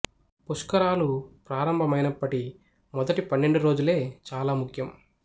పుష్కరాలు ప్రారంభ మైనప్పటి మొదటి పన్నెండు రోజులే చాలా ముఖ్యం